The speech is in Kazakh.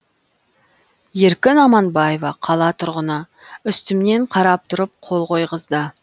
еркін аманбаева қала тұрғыны үстімнен қарап тұрып қол қойғызды